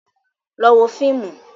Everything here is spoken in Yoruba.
Lọ wo fíìmù.